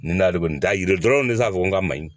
N dalen t'a yira dɔrɔn ne t'a fɔ n ka maɲi